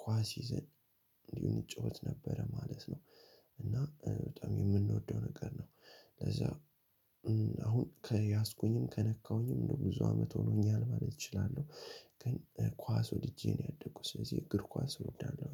ኳስ ይዘን እንዲሁ እጫወት ነበረ ማለት ነው። እና በጣም የምንወደው ነገር ነው ለዛ- አሁን ከያዝኩኝም ከነካሁኝም እንደው ብዙ አመት ሆኖኛል ማለት እችላለሁ። ግን ኳስ ወድጄ ነው ያደኩት። ስለዚህ እግር ኳስ እወዳለሁ።